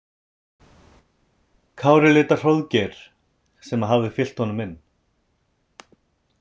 Kári leit á Hróðgeir sem hafði fylgt honum inn.